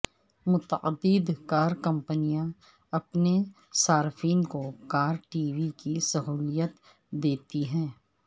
متعدد کار کمپنیاں اپنے صارفین کو کار ٹی وی کی سہولت دیتی ہیں